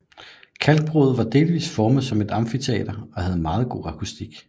Kalkbruddet var delvist formet som et amfiteater og havde meget god akustik